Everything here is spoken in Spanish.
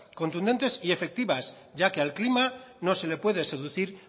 contundentes y efectivas ya que al clima no se le puede seducir